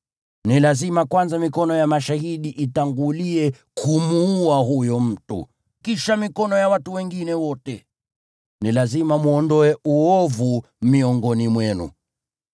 Ni lazima kwanza mikono ya mashahidi itangulie kumuua huyo mtu, kisha mikono ya watu wote. Ni lazima mwondoe uovu miongoni mwenu.